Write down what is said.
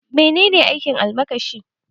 Menene aikin almakashi?